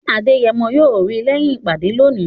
Adeyemo yóò rí lẹ́yìn ìpàdé lónìí